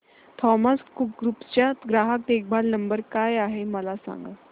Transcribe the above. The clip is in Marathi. थॉमस कुक ग्रुप चा ग्राहक देखभाल नंबर काय आहे मला सांगा